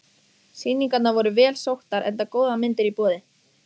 Sýningarnar voru vel sóttar enda góðar myndir í boði.